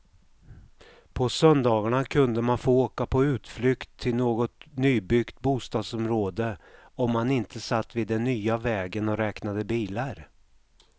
På söndagarna kunde man få åka på utflykt till något nybyggt bostadsområde om man inte satt vid den nya vägen och räknade bilar.